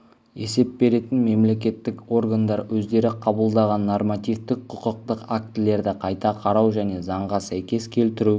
есеп беретін мемлекеттік органдар өздері қабылдаған нормативтік құқықтық актілерді қайта қарау және заңға сәйкес келтіру